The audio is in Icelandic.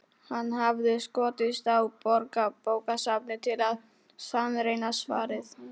Hann hafði skotist á Borgarbókasafnið til að sannreyna svarið.